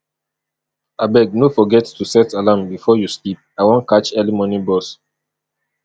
abeg no forget to set alarm before you sleep i wan catch early morning bus